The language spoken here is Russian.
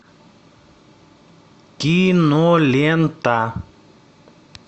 кинолента